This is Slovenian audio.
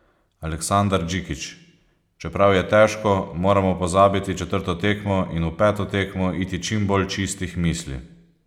Aleksandar Džikić: "Čeprav je težko, moramo pozabiti četrto tekmo in v peto tekmo iti čim bolj čistih misli.